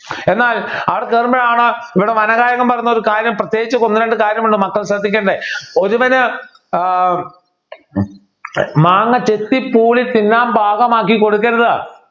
എന്നാൽ അവർ കേറുമ്പോഴാണ് ഇവിടെ വനഗായകൻ പറയുന്ന ഒരു കാര്യം പ്രത്യേകിച്ച് ഒന്ന് രണ്ട് കാര്യം ഉണ്ട് മക്കൾ ശ്രദ്ധിക്കേണ്ട ഒരുവനു ഏർ മാങ്ങ ചെത്തി പൂളി തിന്നാൻ പാകമാക്കി കൊടുക്കരുത്